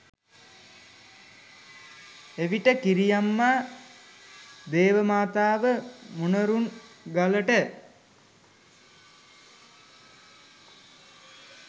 එවිට කිරිඅම්මා දේවමාතාව මොණරුන්ගලට